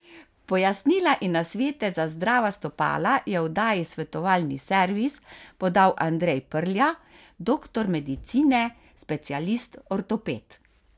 Pojasnila in nasvete za zdrava stopala je v oddaji Svetovalni servis podal Andrej Prlja, doktor medicine, specialist ortoped.